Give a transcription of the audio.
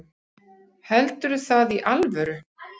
Heldurðu það í alvöru?